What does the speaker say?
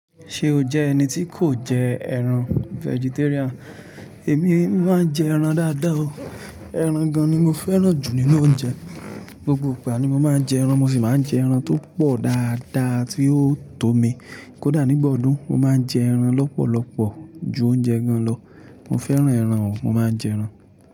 Ṣé o jẹ́ ẹni tí kò jẹ ẹran vegetarian? Èmi máa ń jẹ ẹran dáadáa o. Ẹran gan ni mo fẹ́ràn jù nínú oúnjẹ. Gbogbo ìgbà ni mo máa ń jẹ ẹran. Mo sì máa ń jẹ ẹran tó pọ̀ dáadáa tí yóò tó mi. Kódà nígbà ọdún, mo máa ń jẹ ẹran lọ́pọ̀lọpọ̀ ju oúnjẹ gan lọ. Mo fẹ́ràn ẹran o, mo máa ń jẹ ẹran.